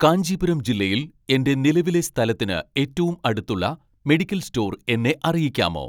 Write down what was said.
കാഞ്ചീപുരം ജില്ലയിൽ എന്റെ നിലവിലെ സ്ഥലത്തിന് ഏറ്റവും അടുത്തുള്ള മെഡിക്കൽ സ്റ്റോർ എന്നെ അറിയിക്കാമോ